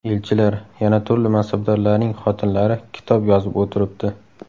Elchilar, yana turli mansabdorlarning xotinlari kitob yozib o‘tiribdi.